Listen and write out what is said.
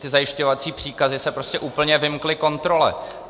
Ty zajišťovací příkazy se prostě úplně vymkly kontrole.